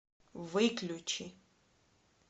выключи